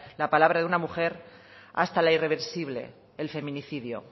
la palabra de una mujer hasta la irreversible el femenicidio